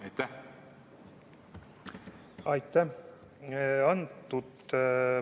Aitäh!